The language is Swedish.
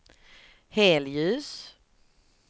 helljus